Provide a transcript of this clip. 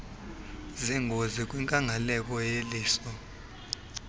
zengozi kwinkangeleko yelihlo